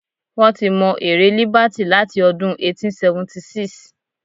Wọ́n ti mọ ère Líbàtì láti ọdún 1876.